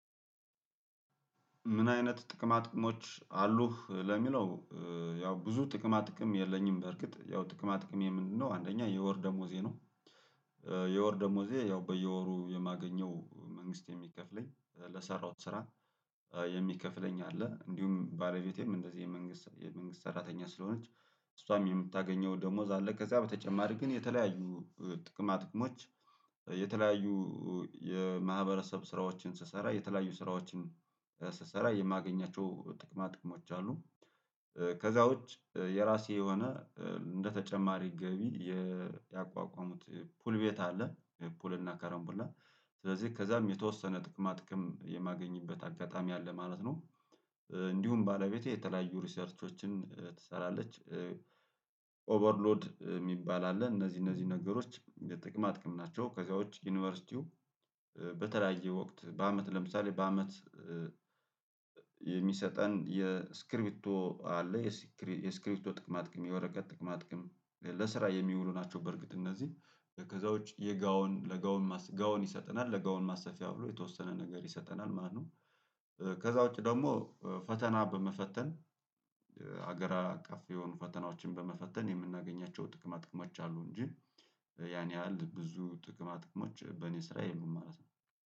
ምን አይነት ጥቅማ ጥቅሞች አሉህ ለሚለው ያው ብዙ ጥቅማ ጥቅም የለኝም በርግጥ ያው ጥቅማ ጥቅሜ ምንድነው አንደኛ የወር ደሞዜ ነው የወር ደሞዜ ያው በየወሩ የማገኘው መንግስት የሚከፍለኝ ለሠራሁት ስራ የሚከፍለኝ አለ እንዲሁም ባለቤቴም እንደዚህ የመንግስት የመንግስት ሰራተኛ ስለሆነች እሷም የምታገኘው ደሞዝ አለ ከዛ በተጨማሪ ግን የተለያዩ ጥቅማ ጥቅሞች የተለያዩ የማህበረሰብ ስራዎችን ስሰራ የተለያዩ ስራዎችን ስሰራ የማገኛቸው ጥቅማ ጥቅሞች አሉ ከዛ ውጭ የራሴ የሆነ እንደተጨማሪ ገቢ ያቋቋምኩት ፑል ቤት አለ። ፑል እና ከረምቡላ ስለዚህ ከዛም የተወሰነ ጥቅማ ጥቅም የማገኝበት አጋጣሚ አለ ማለት ነው። እንዲሁም ባለቤቴ የተለያዩ ሪሰርቾችን ትሰራለች ኦቨርሎድ የሚባል አለ እነዚህ እነዚህ ነገሮች የጥቅም አጥቅም ናቸው። ከዚያው ውጪ ዩኒቨርሲቲው በተለያየ ወቅት በአመት ለምሳሌ በአመት የሚሰጠን የስክሪፕቶ አለ የስክሪፕቶ ጥቅማ ጥቅም የወረቀት ጥቅማ ማጥቀም ለስራ የሚውሉ ናቸው በርግጥ እነዚህ ከዛ ውጪ የጋውን ለጋውን ጋውን ይሰጠናል ለጋውን ማሰፊያ ብሎ የተወሰነ ነገር ይሰጠናል ማነው ከዛ ውጪ ደግሞ ፈተና በመፈተን ሀገራት አቀፍ የሆኑ ፈተናዎችን በመፈተን የምናገኛቸው ጥቅማ ጥቅማች አሉ እንጂ ያን ያህል ብዙ ጥቅማ ጥቅሞች በእኔ ስራ የለም ማለት ነው